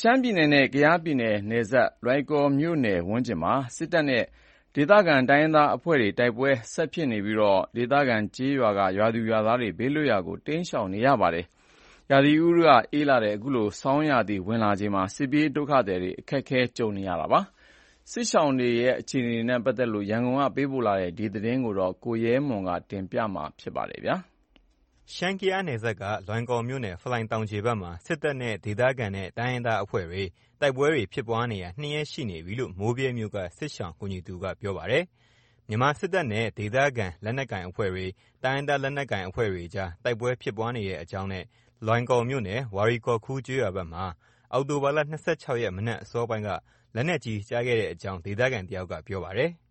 ရှမ်းပြည်နယ်နဲ့ ကယားပြည်နယ် နယ်စပ် လွိုင်ကော်မြို့ဝန်းကျင်မှာ စစ်တပ်နဲ့ ဒေသခံ တိုင်းရင်းသားတပ်ဖွဲ့တွေ တိုက်ပွဲတွေ ဆက်ဖြစ်နေပြီး ဒေသခံ ကျေးရွာက ရွာသူရွာသားတွေ ဘေးလွတ်ရာကို တိမ်းရှောင် နေရပါတယ်။ ရာသီဥတုအေးတဲ့ ဆောင်းရာသီ ဝင်လာတာကြောင့် နေရပ်မပြန်နိုင်သေးတဲ့ စစ်ပြေးဒုက္ခသည်တွေ အခက်အခဲတွေ့နေပြီး နီးစပ်ရာ တောတောင်တွေမှာ ခိုလှုံရင်း ညပိုင်းမှာ မီးလှုံပြီး အိပ်နေရတယ်လို့ ပြောပါတယ်။ လွိုင်ကော်နဲ့ မိုးဗြဲဘက်က စစ်ရှောင်တွေရဲ့ အခြေအနေ သတင်းပေးပို့ချက်ကို ကိုရဲမွန် တင်ပြပါမယ်။ ရှမ်း-ကယားနယ်စပ်က လွိုင်ကော်မြို့နယ် ဖလိုင်တောင်ခြေဖက်မှာ စစ်တပ်နဲ့ ဒေသခံနဲ့ တိုင်းရင်းသားအဖွဲ့တွေ တိုက်ပွဲဖြစ်ပွားနေတာ ၂ ရက် ရှိနေပြီလို့ မိုးဗြဲမြို့က စစ်ရှောင်ကူညီသူက ပြောပါတယ်။ မြန်မာစစ်တပ်နဲ့ ဒေသခံ လက်နက်ကိုင်အဖွဲ့တွေ တိုင်းရင်းသားလနက်ကိုင် အဖွဲ့တွေအကြား တိုက်ပွဲဖြစ်ပွားနေတဲ့အကြောင်းနဲ့ လွိုင်ကော်မြို့နယ် ဝါရီကောခူ ကျေးရွာဖက်မှာ ဒီနေ့ မနက်အစောပိုင်းက လက်နက်ကြီး ကျခဲ့တဲ့အကြောင်း ဒေသခံတယောက်က ပြောပါတယ်။ “